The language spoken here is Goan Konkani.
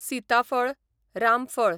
सिताफळ, रामफळ